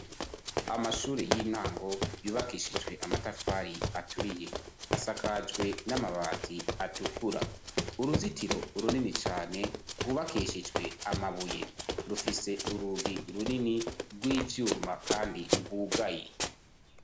amashuri y'intango yubakishijwe amatafari aturiye asakajwe n'amabati atukura uruzitiro urunini cane rwubakishijwe amabuye rufise urugi runini rw'ivyuma kandi rwugaye